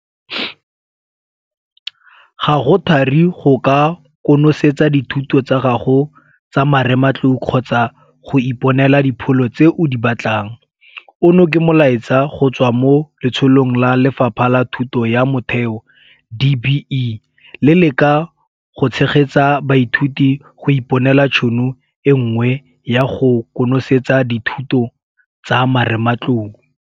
Ga go thari go ka konosetsa dithuto tsa gago tsa marematlou kgotsa go iponela dipholo tse o di batlang, ono ke molaetsa go tswa mo Letsholong la Lefapha la Thuto ya Motheo, DBE, le le ka ga go Tshegetsa Baithuti go Iponela Tšhono e Nngwe ya go Konosetsa Dithuto tsa marematlou.